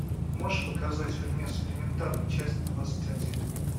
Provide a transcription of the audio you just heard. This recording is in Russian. можешь показать фильмец элементарно часть двадцать один